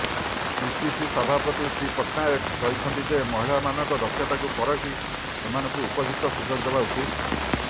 PCC ସଭାପତି ଶ୍ରୀ ପଟ୍ଟନାୟକ କହିଛନ୍ତି ଯେ ମହିଳାମାନଙ୍କ ଦକ୍ଷତାକୁ ପରଖି ସେମାନଙ୍କୁ ଉପଯୁକ୍ତ ସୁଯୋଗ ଦେବା ଉଚିତ୍